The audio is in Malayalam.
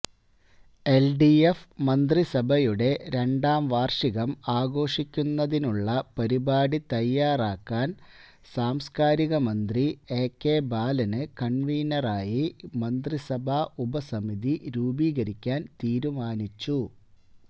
എല്ഡിഎഫ് മന്ത്രിസഭയുടെ രണ്ടാം വാര്ഷികം ആഘോഷിക്കുന്നതിനുളള പരിപാടി തയ്യാറാക്കാന് സാംസ്കാരികമന്ത്രി എകെ ബാലന് കണ്വീനറായി മന്ത്രിസഭാ ഉപസമിതി രൂപീകരിക്കാന് തീരുമാനിച്ചു